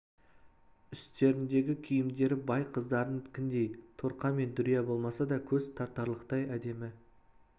үстеріндегі киімдері бай қыздарынікіндей торқа мен дүрия болмаса да көз тартарлықтай әдемі